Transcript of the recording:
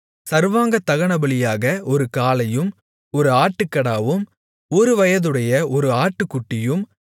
சர்வாங்கதகனபலியாக ஒரு காளையும் ஒரு ஆட்டுக்கடாவும் ஒருவயதுடைய ஒரு ஆட்டுக்குட்டியும்